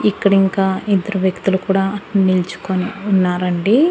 ఇక్కడ ఇంకా ఇద్దరు వ్యక్తులు కూడా నిల్చుకొని ఉన్నారండి.